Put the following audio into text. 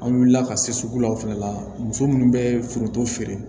An wulila ka se sugu la o fɛnɛ la muso munnu bɛ foronto feere